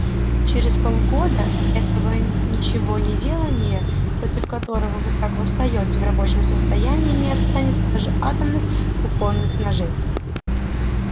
через полгода этого ничегонеделания против которого вы так восстаёте в рабочем состоянии не останется даже атомных кухонных ножей